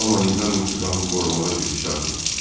Amma nizam-intizamı qorumağa gücü çatmırdı.